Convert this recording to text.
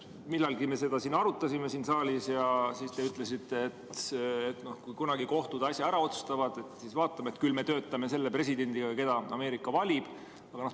Millalgi me seda siin saalis arutasime ja siis te ütlesite, et kui kunagi kohtud asja ära otsustavad, siis vaatame, et küll me töötame selle presidendiga, kelle Ameerika valib.